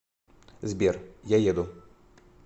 сбер я еду